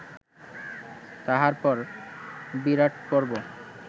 তাহার পর বিরাটপর্ব